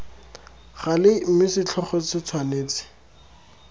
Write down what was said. gale mme setlhogo se tshwanetse